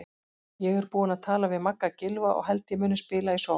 Ég er búinn að tala við Magga Gylfa og held ég muni spila í sókn.